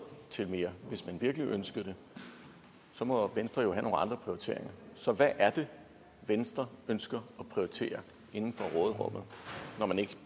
til mere hvis man virkelig ønskede det så må venstre jo have nogle andre prioriteringer så hvad er det venstre ønsker at prioritere inden for råderummet når man ikke